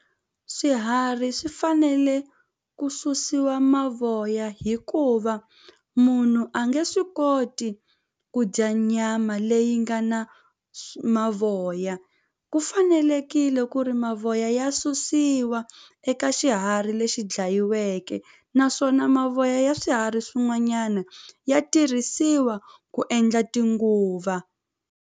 Swiharhi swi fanele ku susiwa mavoya hikuva munhu a nge swi koti ku dya nyama leyi nga na mavoya ku fanelekile ku ri mavoya ya susiwa eka xiharhi lexi dlayiweke naswona mavoya ya swiharhi swin'wanyana ya tirhisiwa ku endla tinguva.